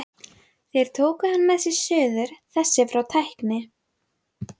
Gunnar Hámundarson umsjónarmaður reifst yfir skótaui og yfirhöfnum.